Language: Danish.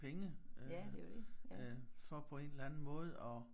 Penge øh for på en eller anden måde at